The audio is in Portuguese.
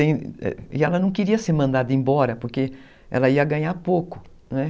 E ela não queria ser mandada embora porque ela ia ganhar pouco, né?